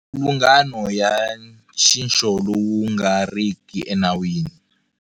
Mipfilungano ya nxixo lowu nga riki enawini.